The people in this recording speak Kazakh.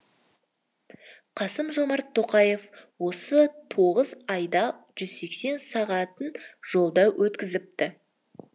қасым жомарт тоқаев осы тоғыз айда жүз сексен сағатын жолда өткізіпті